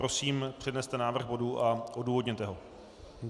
Prosím, předneste návrh bodu a odůvodněte ho.